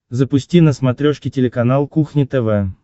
запусти на смотрешке телеканал кухня тв